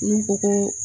N'u ko ko